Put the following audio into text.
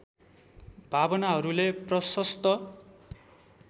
भावनाहरूले प्रशस्त